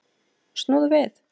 Snúðu við!